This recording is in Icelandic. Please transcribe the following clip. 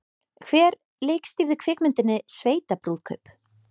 Hver leikstýrði kvikmyndinni Sveitabrúðkaup?